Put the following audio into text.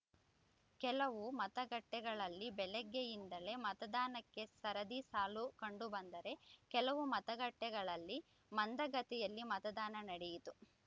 ಕೆಲವು ಮತಗಟ್ಟೆಗಳಲ್ಲಿ ಬೆಳಗ್ಗೆಯಿಂದಲೇ ಮತದಾನಕ್ಕೆ ಸರದಿ ಸಾಲು ಕಂಡುಬಂದರೆ ಕೆಲವು ಮತಗಟ್ಟೆಗಳಲ್ಲಿ ಮಂದಗತಿಯಲ್ಲಿ ಮತದಾನ ನಡೆಯಿತು